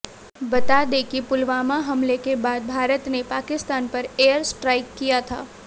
बता दें कि पुलवामा हमले के बाद भारत ने पाकिस्तान पर एयर स्ट्राइक किया था